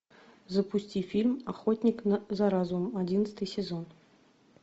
запусти фильм охотник за разумом одиннадцатый сезон